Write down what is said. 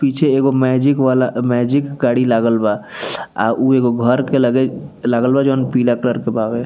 पीछे एगो मैजिक वाला मैजिक गाड़ी लागल बा और उ एगो घर के लगे लागल बा जोन पीला कलर के बावे।